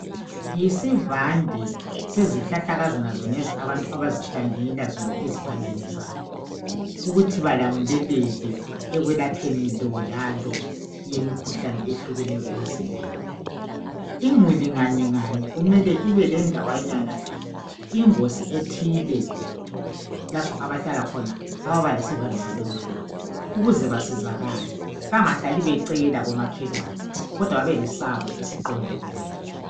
Yisivande sezihlahlakazana zonezi abantu abazihlanyelela zona ezivandeni zabo ,ukuthi balamuleleke ekwelapheni lo lalo yemikhuhlane ehlukeneyo emizimbeni. Imuli nganye nganye imele ibe lendawanyana yayo. Ingozi ethile lapha abahlala khona ababa lesivande saloluhlobo ukuze basizakale bangahlali becela komakhelwane, kodwa babe lesabo esiqonde bona.